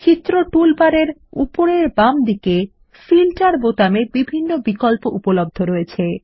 চিত্র টুলবারের উপরের বাম দিকে ফিল্টার বোতামে বিভিন্ন বিকল্প উপলব্ধ রয়েছে